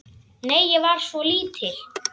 Nei, ég var svo lítil.